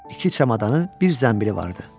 İki çamadanı, bir zənbili vardı.